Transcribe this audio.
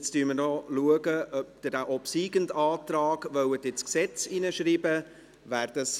Jetzt schauen wir, ob Sie den obsiegenden Antrag ins Gesetz schreiben wollen.